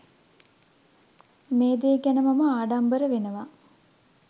මේ දේ ගැන මම ආඩම්බර වෙනවා.